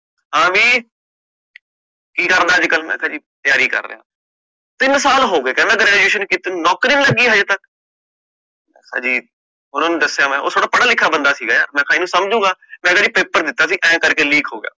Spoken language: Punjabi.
ਹਾਂ, ਬਈ ਕਿ ਕਰਦਾ? ਅੱਜ ਕਲ, ਮੈਂ ਕਹ ਜੀ ਤਿਆਰੀ ਕਰ ਰਿਹਾ, ਤਿੰਨ ਸਾਲ ਹੋਗੇ ਕਹਿੰਦਾ graduation ਕੀਤੇ ਨੂੰ ਨੌਕਰੀ ਨੀ ਲਗੀ ਹਲੇ ਤਕ ਮੈਂ ਖ ਜੀ, ਓਹਨਾ ਨੂੰ ਦਸਿਆ ਮੈਂ, ਉਹ ਥੋੜਾ ਪਦਾ ਲਿਖਿਆ ਬੰਦਾ ਸੀਗਾ, ਮੇ ਕਹ ਸਮਝੂਗਾ, ਮੈਂ ਕਹ ਜੀ paper ਦਿਤਾ ਸੀ, ਆਏ ਕਰਕੇ leak ਹੋ ਗਯਾ